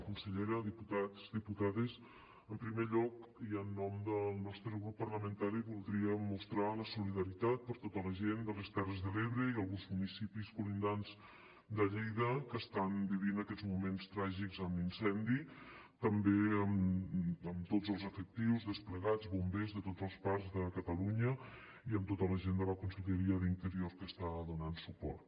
consellera diputats diputades en primer lloc i en nom del nostre grup parlamentari voldríem mostrar la solidaritat amb tota la gent de les terres de l’ebre i alguns municipis contigus de lleida que estan vivint aquests moments tràgics amb l’incendi també amb tots els efectius desplegats bombers de tots els parcs de catalunya i amb tota la gent de la conselleria d’interior que hi està donant suport